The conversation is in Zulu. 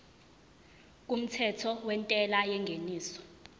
kumthetho wentela yengeniso